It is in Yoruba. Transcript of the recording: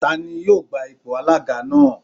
Tani yóò gba ipò alága náà?